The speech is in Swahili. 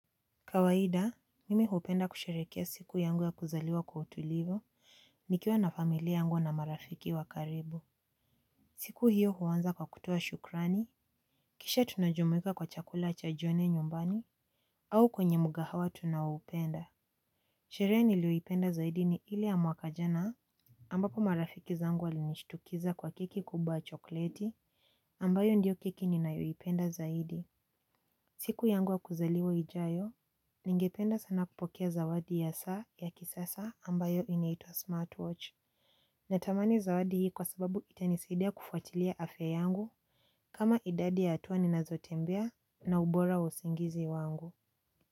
Kawahida, mimi hupenda kusherehekea siku yangu ya kuzaliwa kwa utulivu nikiwa na familia yangu na marafiki wakaribu. Siku hiyo huanza kwa kutoa shukrani, kisha tunajumuika kwa chakula cha jioni nyumbani, au kwenye mkahawa tunaoupenda. Sherehe niliyoipenda zaidi ni ili ya mwaka jana. Ambako marafiki zangu walinishtukiza kwa keki kubwa ya chokleti, ambayo ndiyo keki ninayoipenda zaidi. Siku yangu ya kuzaliwa ijayo. Ningependa sana kupokea zawadi ya saa ya kisasa ambayo inaitwa smartwatch. Natamani zawadi hii kwa sababu itanisidia kufuatilia afya yangu kama idadi ya hatua ninazotembea na ubora usingizi wangu.